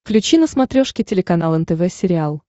включи на смотрешке телеканал нтв сериал